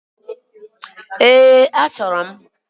Eeǃ Achọbulu m.